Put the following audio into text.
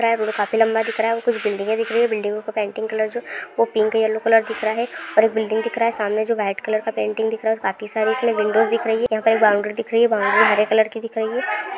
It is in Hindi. रोड काफी लम्बा दिखरहा है कुछ बिल्डिंगे दिखरही है बिल्डिंगों के पेंटिंग कलर्स जो वो पिंक येल्लो कलर दिखरहा है और बिल्डिंग दिखरहा है सामने जो वाइट कलर का पेंटिंग दिखरहा है काफी सारे उसमे विंडोज दिखरहे है बाउंड्री दिखरही है बाउंड्री हरे कलर की दिखरही है